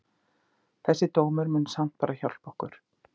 Þessi dómur mun samt bara hjálpa okkur.